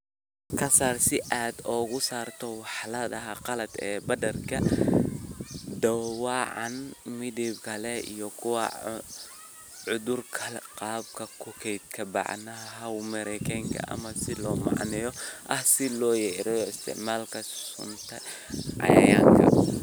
"Ka saar si aad uga saarto walxaha qalaad, badarka dhaawacan, midabka leh iyo kuwa cudurka qaba, ku kaydi bacaha hawo-mareenka ah ama silo macdan ah si loo yareeyo isticmaalka sunta cayayaanka."